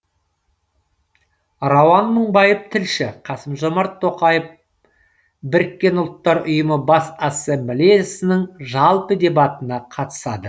рауан мыңбаев тілші қасым жомарт тоқаев біріккен ұлттар ұйымы бас ассамблеясының жалпы дебатына қатысады